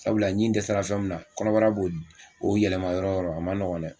Sabula ɲin dɛsɛra fɛn min na min na kɔnɔbara b'o yɛlɛma yɔrɔ o yɔrɔ a ma nɔgɔ dɛ